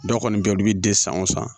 Dɔw kɔni bɛ yen olu bɛ den san o san